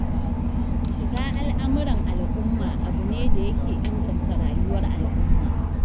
Shiga al'amuran al'umma abu ne da yake inganta rayuwar al'ummar.